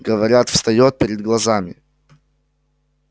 говорят встаёт перед глазами